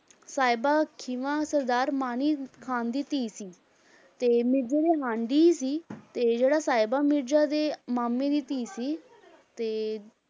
ਸਾਹਿਬਾਂ ਖੀਵਾ ਸਰਦਾਰ ਮਾਹਨੀ ਖ਼ਾਨ ਦੀ ਧੀ ਸੀ, ਤੇ ਮਿਰਜ਼ੇ ਦੇ ਹਾਣ ਦੀ ਹੀ ਸੀ ਤੇ ਜਿਹੜਾ ਸਾਹਿਬਾਂ ਮਿਰਜ਼ਾ ਦੇ ਮਾਮੇ ਦੀ ਧੀ ਸੀ ਤੇ